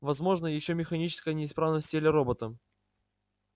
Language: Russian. возможна ещё механическая неисправность в теле робота